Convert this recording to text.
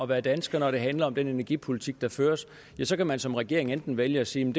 være dansker når det handler om den energipolitik der føres så kan man som regering enten vælge at sige